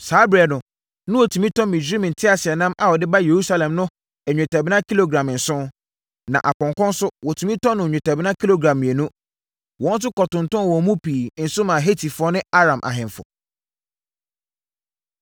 Saa ɛberɛ no, na wɔtumi tɔ Misraim nteaseɛnam a wɔde ba Yerusalem no nnwetɛbena kilogram nson, na apɔnkɔ nso, wɔtumi tɔ no nnwetɛbena kilogram mmienu. Wɔn nso kɔtontɔnn wɔn mu pii nso maa Hetifoɔ ne Aram ahemfo.